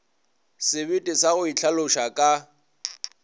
sebete sa go itlhaloša ka